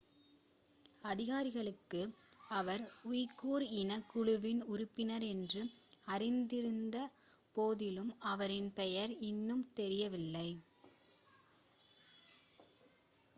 அதிகாரிகளுக்கு அவர் உய்குர் இனக் குழுவின் உறுப்பினர் என்று அறிந்திருந்த போதிலும் அவரின் பெயர் இன்னும் தெரியவில்லை